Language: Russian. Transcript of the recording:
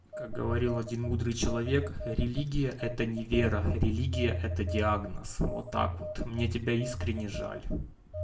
как говорил один мудрый человек религия это не вера религия это диагноз вот так вот мне тебя искренне жаль